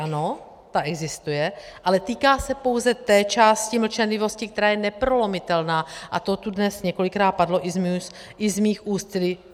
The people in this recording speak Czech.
Ano, ta existuje, ale týká se pouze té části mlčenlivosti, která je neprolomitelná, a to tu dnes několikrát padlo i z mých úst.